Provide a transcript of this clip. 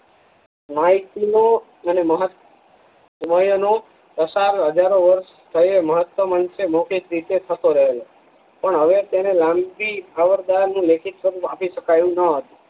માંઈક નો અને પસાર હજારો વર્ષ થયો મહતમ અંશ મોખિક રીતે થતો રહેલો પણ હવે તેને લેખિત સ્વરૂપ આપી શકાયું ન હતું